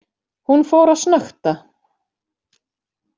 Hún fór að snökta.